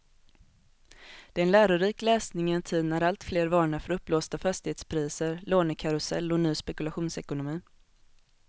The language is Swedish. Det är en lärorik läsning i en tid när alltfler varnar för uppblåsta fastighetspriser, lånekarusell och ny spekulationsekonomi.